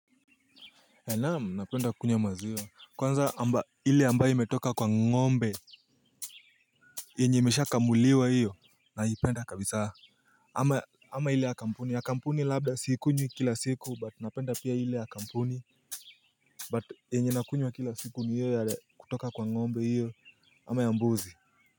Naam napenda kukunywa maziwa kwanza ile ambayo imetoka kwa ngombe. Yenye imesha kamuliwa hiyo naipenda kabisa. Ama ile ya kampuni ya kampuni labda siikunywi kila siku but napenda pia ile ya kampuni But yenye nakunywa kila siku ni hiyo ya kutoka kwa ngombe hiyo ama ya mbuzi.